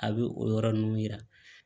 A bɛ o yɔrɔ ninnu yira